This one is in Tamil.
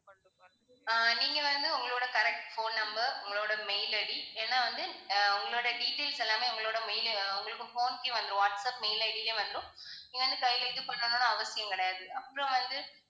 அஹ் நீங்க வந்து உங்களோட correct phone number உங்களோட mail ID ஏன்னா வந்து ஆஹ் உங்களோட details எல்லாமே உங்களோட mail உங்களுக்கு phone கே வந்துரும் வாட்ஸ்ஆப் mail ID லையே வந்துரும். நீங்க வந்து கையிலேயே இது பண்ணனும்னு அவசியம் கிடையாது, அப்புறம் வந்து